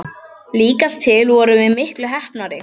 Líkast til vorum við miklu heppnari.